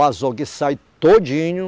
O azogue sai todinho.